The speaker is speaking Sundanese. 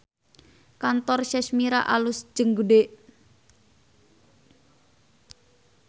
Kantor Sashmira alus jeung gede